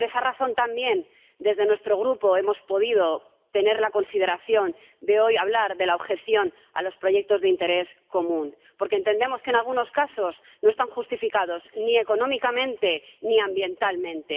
Y por esa razón también, desde nuestro Grupo hemos considerado hoy hablar de la objeción a los proyectos de interés común, porque entendemos que en algunos casos no están justificados ni económicamente ni ambientalmente.